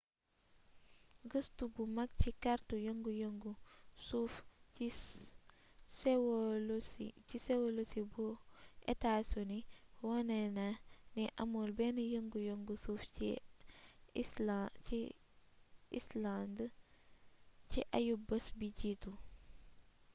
gëstu bu mag ci kartu yëngu-yëngu suuf ci sewolosi bu etaa sini wone na ni amul benn yëngu-yëngu suuf ci icelànd ci ayu-bis bi jiitu